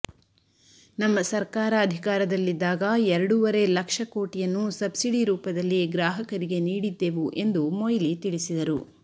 ನಮ್ಮ ಸರ್ಕಾರ ಅಧಿಕಾರದಲ್ಲಿದ್ದಾಗ ಎರಡೂವರೆ ಲಕ್ಷ ಕೋಟಿಯನ್ನು ಸಬ್ಸಿಡಿ ರೂಪದಲ್ಲಿ ಗ್ರಾಹಕರಿಗೆ ನೀಡಿದ್ದೆವು ಎಂದು ಮೊಯ್ಲಿ ತಿಳಿಸಿದರು